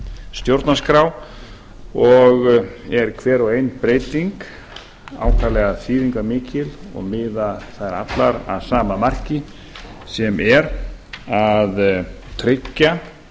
stjórnarskrá og er hver og ein breyting ákaflega þýðingarmikil og miða þær allar að sama marki sem er að tryggja